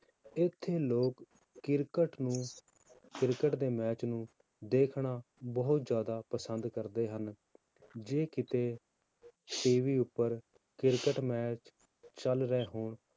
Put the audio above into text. ਇੱਥੇ ਲੋਕ ਕ੍ਰਿਕਟ ਨੂੰ ਕ੍ਰਿਕਟ ਦੇ match ਨੂੰ ਦੇਖਣਾ ਬਹੁਤ ਜ਼ਿਆਦਾ ਪਸੰਦ ਕਰਦੇ ਹਨ, ਜੇ ਕਿਤੇ TV ਉੱਪਰ ਕ੍ਰਿਕਟ match ਚੱਲ ਰਹੇ ਹੋਣ